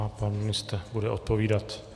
A pan ministr bude odpovídat.